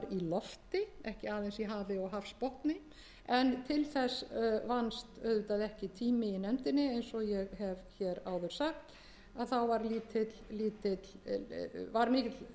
í hafi og hafsbotni en til þess vannst auðvitað ekki tími í nefndinni eins og ég hef hér áður sagt að þá var mikill hraði